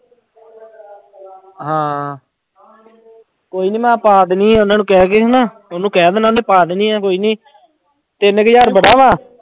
ਹਾਂ ਕੋਈ ਨੀ ਮੈਂ ਪਾ ਦੇਣੀ ਉਹਨਾਂ ਨੂੰ ਕਹਿ ਕੇ ਹਨਾ, ਉਹਨੂੰ ਕਹਿ ਦੇਣਾ ਉਹਨੇ ਪਾ ਦੇਣੀ ਆਂ ਕੋਈ ਨੀ ਤਿੰਨ ਹਜ਼ਾਰ ਬੜਾ ਵਾ।